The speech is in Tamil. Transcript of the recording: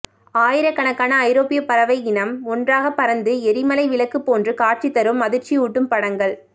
ஆயிரக்கணக்கான ஐரோப்பியப் பறவை இனம் ஒன்றாக பறந்து எரிமலை விளக்கு போன்று காட்சி தரும் அதிர்ச்சியூட்டும் படங்கள்